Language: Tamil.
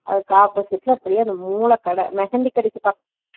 அதுக்கு opposite ல அப்பிடியே மூலக்கட mehandhi கடைக்கு